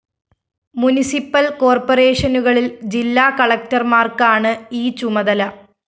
municipal കോര്‍പ്പറേഷനുകളില്‍ ജില്ലാ കളക്ടര്‍മാര്‍ക്കാണ് ഈ ചുമതല